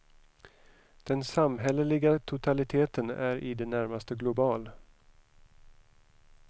Den samhälleliga totaliteten är i det närmaste global.